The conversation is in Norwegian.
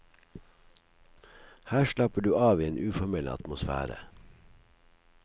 Her slapper du av i en uformell atmosfære.